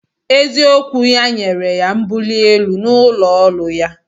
Eziokwu ya nyere ya mbuli elu n'ụlọ ọrụ ya